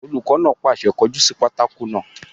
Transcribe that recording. Olùkọ́ náà pàṣẹ, "kọ jú sí pátákó náà!"